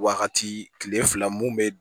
Wagati kile fila mun bɛ